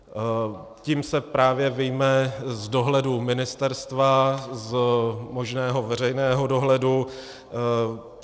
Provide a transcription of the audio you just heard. Tím se právě vyjme z dohledu ministerstva, z možného veřejného dohledu.